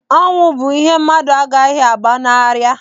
Ọnwụ bụ ihe mmadụ agaghị agbanarị.